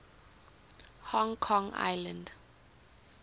hong kong island